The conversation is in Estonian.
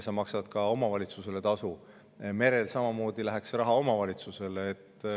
Mere läheks samamoodi see raha omavalitsusele.